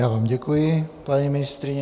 Já vám děkuji, paní ministryně.